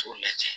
K'o lajɛ